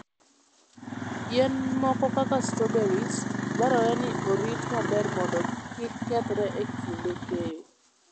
Yien moko kaka strawberries, dwarore ni orit maber mondo kik kethre e kinde keyo.